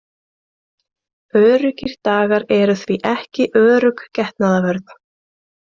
Öruggir dagar eru því ekki örugg getnaðarvörn.